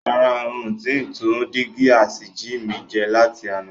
Rárá, ń ó ti tún dígí asìjì mi ṣe láti àná.